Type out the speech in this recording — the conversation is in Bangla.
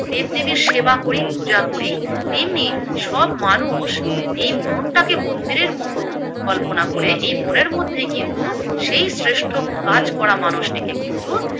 দেবদেবীর সেবা করি পূজা করি, তেমনি সব মানুষ এই মনটাকে মন্দিরের মতো কল্পনা করে এই মনের মধ্যেই কিন্তু সেই শ্রেষ্ঠ কাজ করা মানুষটিকে কিন্তু